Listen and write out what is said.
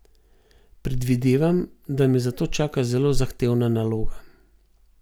Predvidevam, da me zato čaka zelo zahtevna naloga.